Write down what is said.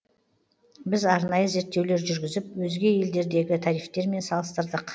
біз арнайы зерттеулер жүргізіп өзге елдердегі тарифтермен салыстырдық